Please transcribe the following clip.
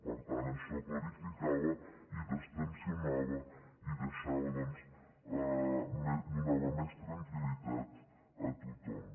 per tant això clarificava i distensionava i donava doncs més tranquil·litat a tothom